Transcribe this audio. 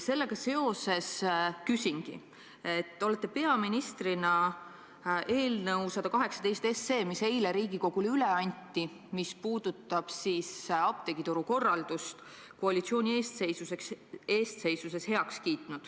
Sellega seoses küsingi: te olete koalitsiooni eestseisuses peaministrina heaks kiitnud eelnõu 118, mis eile Riigikogule üle anti ja mis puudutab apteegituru korraldust.